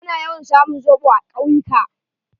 Ana yawan samun zoɓo a kawyuka.